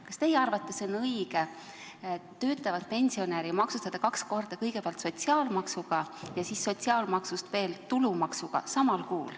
Kas teie arvates on õige töötavat pensionäri maksustada samal kuul kaks korda, kõigepealt sotsiaalmaksuga ja siis maksustada veel tulumaksuga?